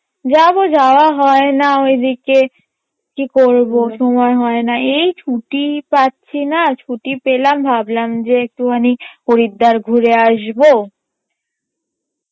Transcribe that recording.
যাবো যাওয়া হয়না ওই দিকে কি করবো সময় হয়না এই ছুটিই পাচ্ছি না, ছুটি পেলাম ভাবলাম যে একটুখানি হরিদ্বার ঘুরে আসবো